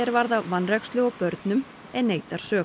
varða vanrækslu á börnum en neitar sök